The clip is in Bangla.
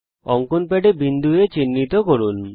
অঙ্কন প্যাডে বিন্দু A চিহ্নিত করুন